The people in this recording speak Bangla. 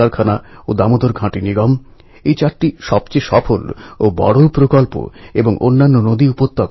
অন্ধ বিশ্বাসের বিরুদ্ধে শ্রদ্ধার সঙ্গে সমাজ লড়াই করতে পারে এই মন্ত্র আমরা এঁদের কাছ থেকে পাই